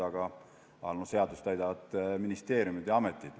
Aga seadust täidavad ministeeriumid ja ametid.